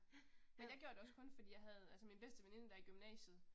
Men jeg gjorde det også kun fordi jeg havde altså min bedste veninde der i gymnasiet